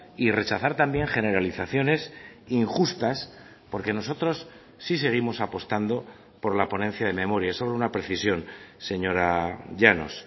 y rechazar también generalizaciones injustas porque nosotros sí seguimos apostando por la ponencia de memoria solo una precisión señora llanos